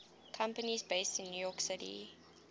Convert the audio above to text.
companies based in new york city